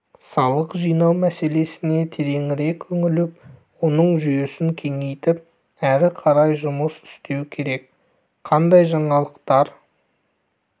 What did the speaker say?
салық жинау мәселесіне тереңірек үңіліп оның жүйесін кеңейтіп әрі қарай жұмыс істеу керек қандай жаңалықтар